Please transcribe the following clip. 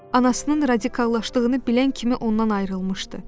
Anasının radikallaşdığını bilən kimi ondan ayrılmışdı.